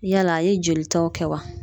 Yala a ye jolitaw kɛ wa?